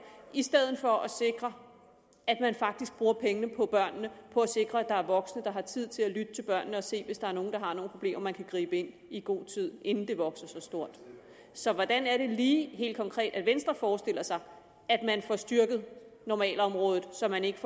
i stedet for at sikre at man faktisk bruger pengene på børnene på at sikre at der er voksne der har tid til at lytte til børnene og se det hvis der er nogle der har nogle problemer så man kan gribe ind i god tid inden de vokser sig store så hvordan er det lige helt konkret at venstre forestiller sig at man får styrket normalområdet så man ikke